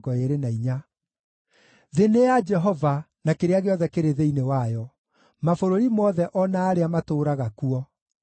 Thĩ nĩ ya Jehova, na kĩrĩa gĩothe kĩrĩ thĩinĩ wayo, mabũrũri mothe o na arĩa matũũraga kuo;